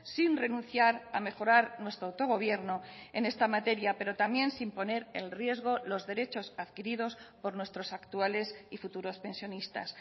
sin renunciar a mejorar nuestro autogobierno en esta materia pero también sin poner en riesgo los derechos adquiridos por nuestros actuales y futuros pensionistas